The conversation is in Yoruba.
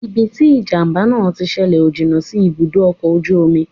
Ibi tí ìjàmbá náà tí ṣẹlẹ̀ ò jìnnà sí ibùdó ọkọ̀ ojú omi